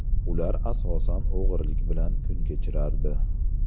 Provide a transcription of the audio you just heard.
Ular asosan o‘g‘rilik bilan kun kechirardi.